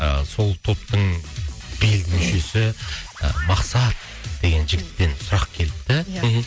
ыыы сол топтың белді мүшесі ы мақсат деген жігіттен сұрақ келіпті иә мхм